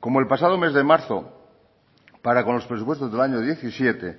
como el pasado mes de marzo para con los presupuestos del año diecisiete